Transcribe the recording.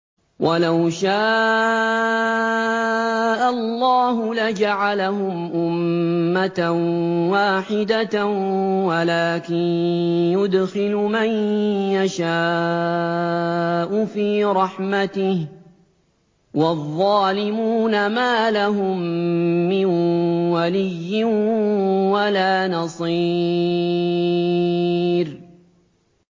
وَلَوْ شَاءَ اللَّهُ لَجَعَلَهُمْ أُمَّةً وَاحِدَةً وَلَٰكِن يُدْخِلُ مَن يَشَاءُ فِي رَحْمَتِهِ ۚ وَالظَّالِمُونَ مَا لَهُم مِّن وَلِيٍّ وَلَا نَصِيرٍ